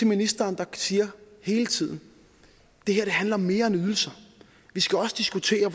ministeren siger hele tiden det her handler om mere end ydelser vi skal også diskutere